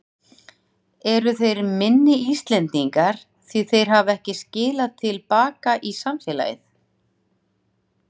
Eru þeir minni Íslendingar því þeir hafa ekki skilað til baka í samfélagið?